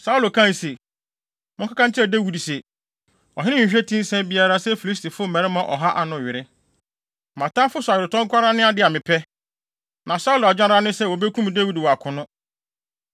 Saulo kae se, “Monkɔka nkyerɛ Dawid se, ‘Ɔhene nhwehwɛ ti nsa biara sɛ Filistifo ɔha mmarima ano were. Mʼatamfo so aweretɔ nko ara ne ade a mepɛ.’ ” Na Saulo adwene ara ne sɛ wobekum Dawid wɔ akono.